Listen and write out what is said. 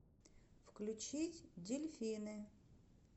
включить дельфины